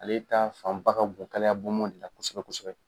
Ale taa fan ba ka bon kalaya bɔnbɔn de la kosɛbɛ kosɛbɛ.